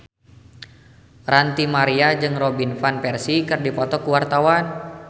Ranty Maria jeung Robin Van Persie keur dipoto ku wartawan